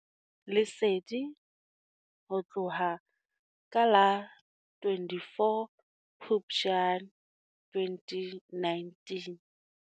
Lesedi ho tloha ka la 24 Phupjane 2019.